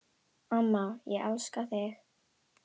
Amma, ég elska þig.